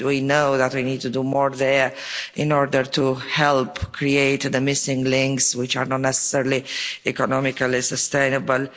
We know that we need to do more there in order to help create the missing links, which are not necessarily economically sustainable.